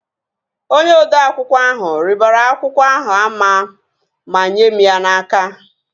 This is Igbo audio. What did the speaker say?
Onye odeakwụkwọ ahụ ribere akwụkwọ ahụ ama ma nyee mụ ya n'aka